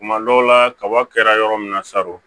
Kuma dɔw la kaba kɛra yɔrɔ min na sa o